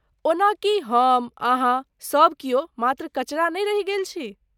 ओना की हम अहाँ सब कियो मात्र कचरा नै रहि गेली छी?